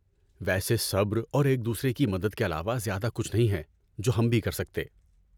ویسے صبر اور ایک دوسرے کی مدد کے علاوہ زیادہ کچھ نہیں ہے جو ہم بھی کر سکتے ۔